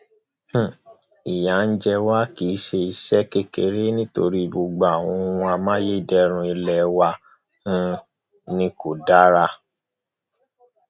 um ìyà ń jẹ wá kì í ṣe kékeré nítorí gbogbo àwọn ohun amáyédẹrùn ilé wa um ni kò dára